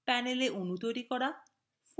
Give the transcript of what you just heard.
panelএ অণু তৈরি করা